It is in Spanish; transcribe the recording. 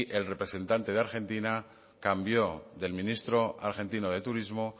el representante de argentina cambió del ministro argentino de turismo